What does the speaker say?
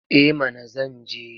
Eh mana zan je.